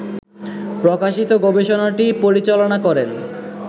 প্রকাশিত গবেষণাটি পরিচালনা করেন